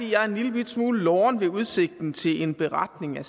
jeg er en lillebitte smule loren ved udsigten til en beretning